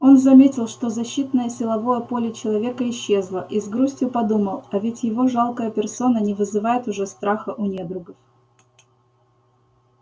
он заметил что защитное силовое поле человека исчезло и с грустью подумал а ведь его жалкая персона не вызывает уже страха у недругов